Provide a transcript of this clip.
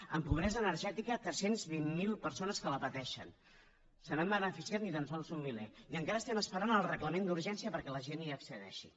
en pobresa energètica tres cents i vint miler persones que la pateixen se n’han beneficiat ni tan sols un miler i encara estem esperant el reglament d’urgència perquè la gent hi accedeixi